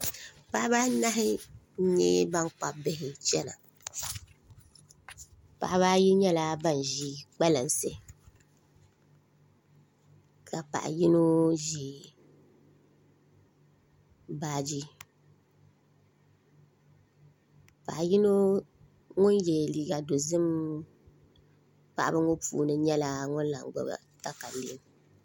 Paɣaba anahi n nyɛ bankpabi bihi chɛna paɣaba ayi nyɛla ban ʒi kpalansi ka paɣa yino ʒi baaji paɣa yino ŋun yɛ liiga dozik paɣaba ŋo puuni nyɛla ŋun lahi gbuni katalɛm